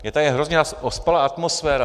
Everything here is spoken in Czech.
Je tady hrozně ospalá atmosféra.